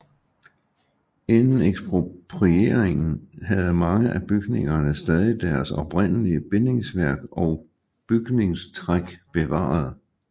Inden eksproprieringen havde mange af bygningerne stadig deres oprindelige bindingsværk og bygningstræk bevaret